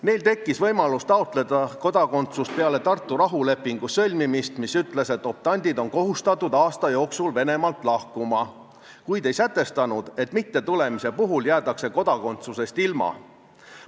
Neil tekkis võimalus taotleda kodakondsust peale Tartu rahulepingu sõlmimist, mis ütles, et optandid on kohustatud aasta jooksul Venemaalt lahkuma, kuid ei sätestanud, et mittetulemise puhul jäädakse kodakondsusest ilma.